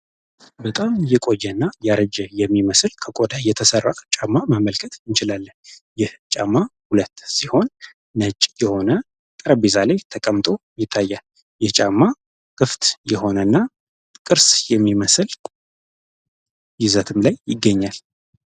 በጣም የቆየ እና ከቆዳ የተሰራ የሚመስል ጫማ መመልከት እንችላለን። ይህ ጫማ ነጭ የሆነ ጠረጴዛ ላይ ተቀምጦ ይታያል። ይህ ጫማ ክፍት የሆነ እና ቅርስ የሚመስል ይዘትም ላይ ይገኛል።